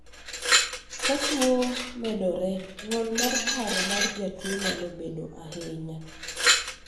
ka tuo medore, ng'ol mar paro mar jatuo nyalo medore ahinya